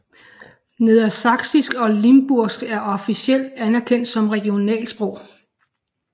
Nedersaksisk og limburgsk er officielt anerkendt som regionalsprog